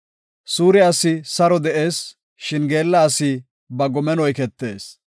Suure asi saro de7ees; shin geella asi ba gomen oyketees.